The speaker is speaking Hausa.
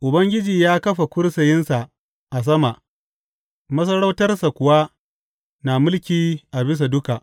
Ubangiji ya kafa kursiyinsa a sama, masarautarsa kuwa na mulki a bisa duka.